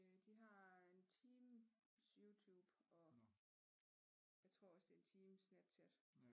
De har en times Youtube og jeg tror også det er en times Snapchat